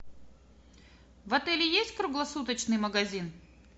в отеле есть круглосуточный магазин